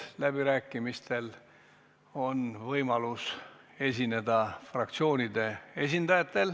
Läbirääkimistel võivad esineda fraktsioonide esindajad.